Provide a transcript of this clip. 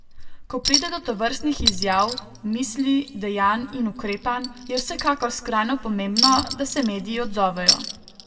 Ko pride do tovrstnih izjav, misli, dejanj in ukrepanj, je vsekakor skrajno pomembno, da se mediji odzovejo.